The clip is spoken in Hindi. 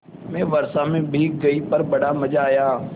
मैं वर्षा से भीग गई पर बड़ा मज़ा आया